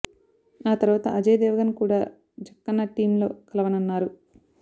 ఆ తరువాత అజయ్ దేవగన్ కూడా జక్కన్న టీమ్ లో కలవనున్నారు